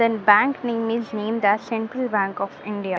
Then bank name is named as Central Bank of India.